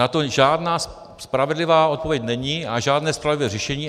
Na to žádná spravedlivá odpověď není, a žádné spravedlivé řešení.